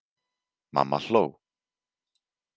Mamma hló.